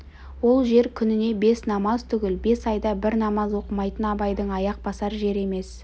ол жер күніне бес намаз түгіл бес айда бір намаз оқымайтын абайдың аяқ басар жері емес